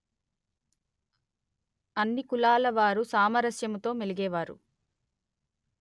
అన్ని కులాల వారు సామరస్యమముతో మెలిగేవారు